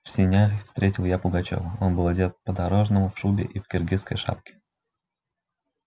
в сенях встретил я пугачёва он был одет по-дорожному в шубе и в киргизской шапке